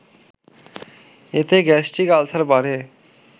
এতে gastric ulcer বাড়ে